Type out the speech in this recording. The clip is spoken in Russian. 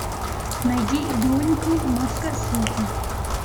найди бионикл маска света